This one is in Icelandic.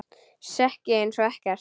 Sekk ég einsog ekkert.